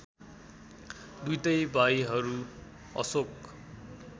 दुईटै भाइहरू अशोक